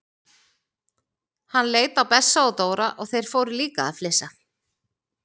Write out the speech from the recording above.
Hann leit á Bessa og Dóra og þeir fóru líka að flissa.